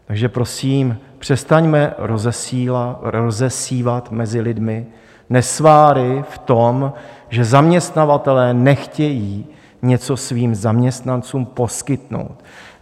Takže prosím, přestaňme rozsévat mezi lidmi nesváry v tom, že zaměstnavatelé nechtějí něco svým zaměstnancům poskytnout.